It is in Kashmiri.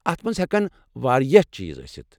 اتھ مَنٛز ہیكن واریاہ چیٖز ٲسِتھ۔